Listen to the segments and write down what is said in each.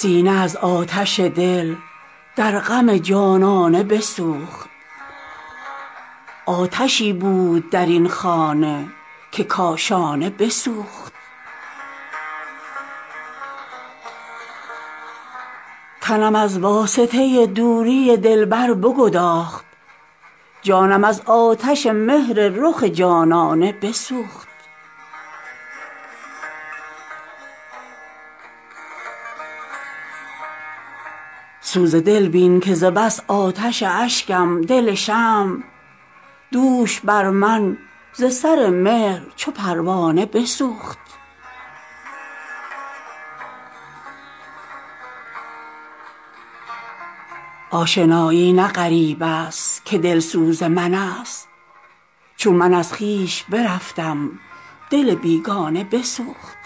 سینه از آتش دل در غم جانانه بسوخت آتشی بود در این خانه که کاشانه بسوخت تنم از واسطه دوری دلبر بگداخت جانم از آتش مهر رخ جانانه بسوخت سوز دل بین که ز بس آتش اشکم دل شمع دوش بر من ز سر مهر چو پروانه بسوخت آشنایی نه غریب است که دلسوز من است چون من از خویش برفتم دل بیگانه بسوخت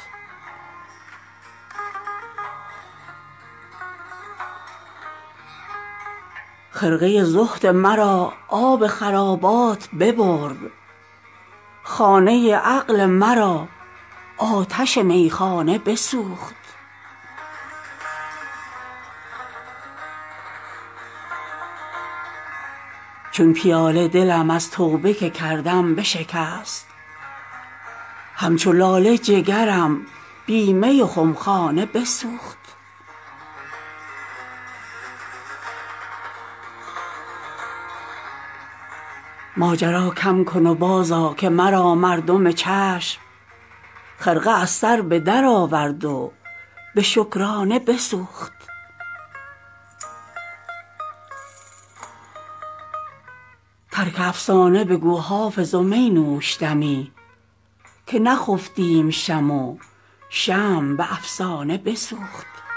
خرقه زهد مرا آب خرابات ببرد خانه عقل مرا آتش میخانه بسوخت چون پیاله دلم از توبه که کردم بشکست همچو لاله جگرم بی می و خمخانه بسوخت ماجرا کم کن و بازآ که مرا مردم چشم خرقه از سر به درآورد و به شکرانه بسوخت ترک افسانه بگو حافظ و می نوش دمی که نخفتیم شب و شمع به افسانه بسوخت